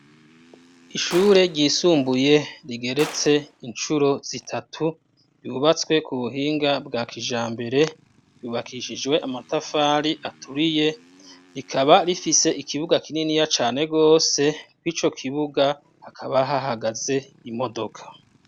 Ishure ryisumbuye rigeretse incuro zitatu yubatswe ku buhinga bwa kijambere bubakishijwe amatafari aturiye, rikaba rifise ikibuga kininiya cane gose, kw'ico kibuga hakaba hahagaze imodoka.